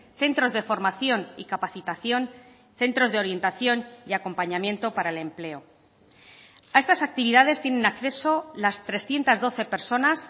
centros de formación y capacitación centros de orientación y acompañamiento para el empleo a estas actividades tienen acceso las trescientos doce personas